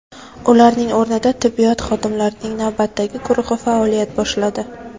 Ularning o‘rnida tibbiyot xodimlarining navbatdagi guruhi faoliyat boshladi.